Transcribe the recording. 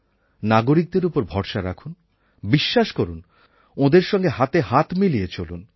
নাগরিকদের ওপর ভরসা রাখুন বিশ্বাস করুন ওঁদের সঙ্গে হাতে হাত মিলিয়ে চলুন